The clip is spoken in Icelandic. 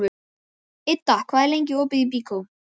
Idda, hvað er lengi opið í Byko?